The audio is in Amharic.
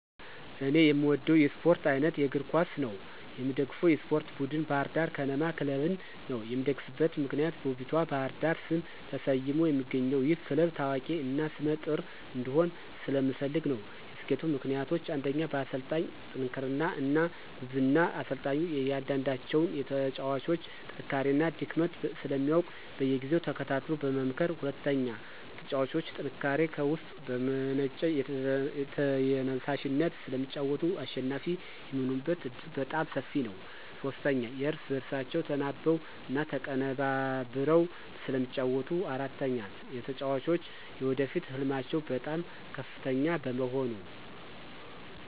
እኔ የምወደው የስፓርት አይነት የእግር ኳስ ነው። የምደግፈውም የስፓርት ቡድን ባህር ዳር ከነማ ክለብን ነው። የምደግፍበት ምክንያት በውቢቷ ባህር ዳር ስም ተሰይሞ የሚገኘው ይህ ክለብ ታዋቂ እና ሰመ ጥር እንዲሆን ስለምፈልግ ነው። የሰኬቱ ምክንያቶች ፩) በአሰልጣኙ ጥንክርና እና ጉብዝና፦ አሰልጣኙ የእያንዳንዳቸውን የተጫዋጮች ጥንካሬ እና ድክመት ስለሚያውቅ በየጊዜው ተከታትሎ በመምከር። ፪) በተጫዋቾቹ ጥንካሬ፦ ከውስጥ በመነጨ ተየሳሽነት ስለሚጫወቱ አሸናፊ የሚሆኑበት ዕድል በጣም ሰፊ ነው። ፫) እርስ በእርሳቸው ተናበው እና ተቀነበብረው ስለሚጫወቱ። ፬) የተጫዋጮች የወደፊት ህልማቸው በጣም ከፍተኛ በመሆኑ።